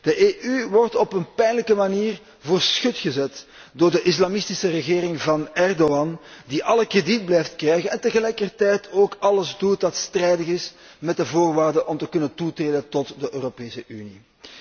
De EU wordt op een pijnlijke manier voor schut gezet door de islamistische regering van Erdogan, die alle krediet blijft krijgen en tegelijkertijd ook alles doet wat strijdig is met de voorwaarden om te kunnen toetreden tot de Europese Unie.